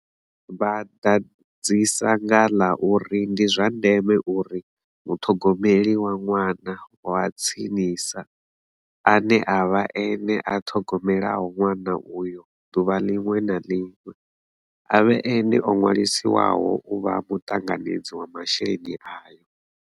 Vha ḓadzisa nga ḽa uri ndi zwa ndeme uri muṱhogomeli wa ṅwana wa tsinisa, ane a vha ene a ṱhogomelaho ṅwana uyo ḓuvha ḽiṅwe na ḽiṅwe, a vhe ene o ṅwaliswaho u vha muṱanganedzi wa masheleni ayo.